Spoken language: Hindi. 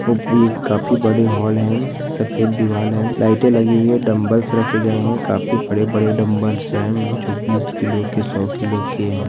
काफी बड़े हाल है सफेद दिवाले है लाइटे लगी हुई है डंबल्स रखे गए है काफी बड़े-बड़े डंबल्स हैं जो बीस किलो के सौ किलो के--